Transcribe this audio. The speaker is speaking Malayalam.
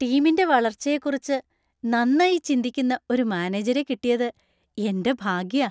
ടീമിന്‍റെ വളർച്ചയെക്കുറിച്ച് നന്നായി ചിന്തിക്കുന്ന ഒരു മാനേജരെ കിട്ടിയത് എന്‍റെ ഭാഗ്യാ.